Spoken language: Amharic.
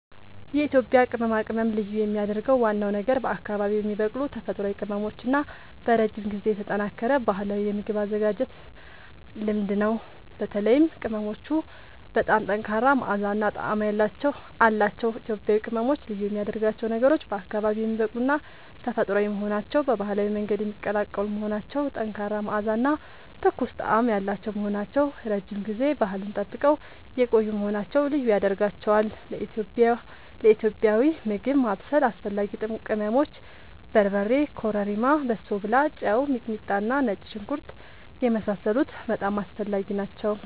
የኢትዮጵያ ቅመማ ቅመም ልዩ የሚያደርገው ዋናው ነገር በአካባቢዉ የሚበቅሉ ተፈጥሯዊ ቅመሞች እና በረጅም ጊዜ የተጠናከረ ባህላዊ የምግብ አዘገጃጀት ልምድ ነው። በተለይም ቅመሞቹ በጣም ጠንካራ መዓዛ እና ጣዕም አላቸዉ። ኢትዮጵያዊ ቅመሞች ልዩ የሚያደርጋቸው ነገሮች፦ በአካባቢዉ የሚበቅሉና ተፈጥሯዊ መሆናቸዉ፣ በባህላዊ መንገድ የሚቀላቀሉ መሆናቸዉ፣ ጠንካራ መዓዛ እና ትኩስ ጣዕም ያላቸዉ መሆናቸዉ፣ ረዥም ጊዜ ባህሉን ጠብቀዉ የቆዪ መሆናቸዉ ልዪ ያደርጋቸዋል። ለኢትዮጵያዊ ምግብ ማብሰል አስፈላጊ ቅመሞች፦ በርበሬ፣ ኮረሪማ፣ በሶብላ፣ ጨዉ፣ ሚጥሚጣና ነጭ ሽንኩርት የመሳሰሉት በጣም አስፈላጊ ናቸዉ